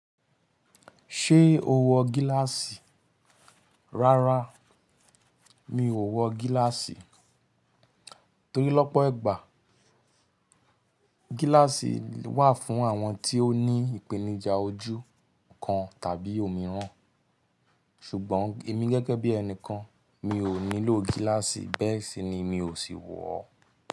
Ṣé o wọ gíláàsì? Rárá, mi ò wọ gíláàsì. Torí lọ́pọ̀ ẹgbàá gíláàsì wà fún àwọn tí ó ní ìpènijà ojú kan tàbí òmíràn, ṣùgbọ́n èmi gẹ́gẹ́ bí ẹnìkan, mi ò nílò gíláàsì, bẹ́ẹ̀ sì ni mi ò sì wọ ọ́.